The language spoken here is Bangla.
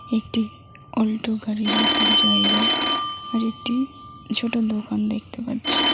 একটি অল্টো গাড়ি রাখার জায়গা আর একটি ছোট দোকান দেখতে পাচ্ছি।